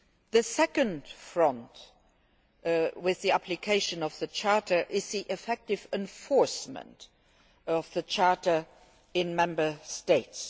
The second front relating to the application of the Charter is the effective enforcement of the Charter in the Member States.